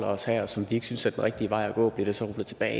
os her og som vi ikke synes er den rigtige vej at gå bliver det så rullet tilbage